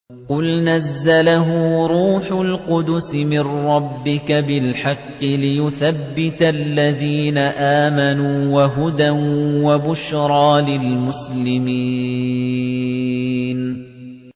قُلْ نَزَّلَهُ رُوحُ الْقُدُسِ مِن رَّبِّكَ بِالْحَقِّ لِيُثَبِّتَ الَّذِينَ آمَنُوا وَهُدًى وَبُشْرَىٰ لِلْمُسْلِمِينَ